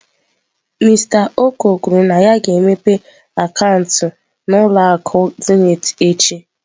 Mister Oko kwuru na ya ga-emepe akaụntụ n'ụlọ akụ Zenith echi.